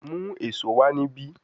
Mu eso wa nibi